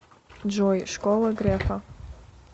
джой школа грефа